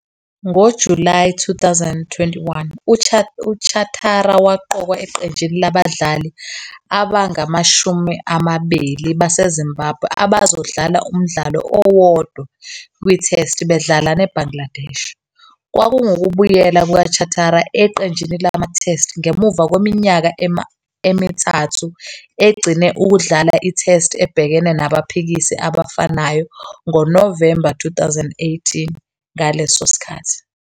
NgoJulayi 2021,uChatara waqokwa eqenjini labadlali abangama-20 baseZimbabwe abazodlala umdlalo owodwa kwiTest bedlala neBangladesh. Kwakungukubuyela kukaChatara eqenjini lamaTest ngemuva kweminyaka emithathu egcine ukudlala iTest ebhekene nabaphikisi abafanayo ngoNovemba 2018 ngaleso sikhathi.